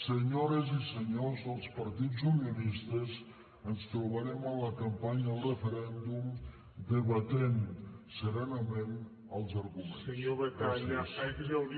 senyores i senyors dels partits unionistes ens trobarem a la campanya al referèndum debatent serenament els arguments